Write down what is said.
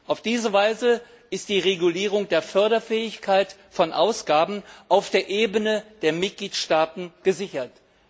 Auf diese Weise ist die Regulierung der Förderfähigkeit von Ausgaben auf der Ebene der Mitgliedstaaten gesichert.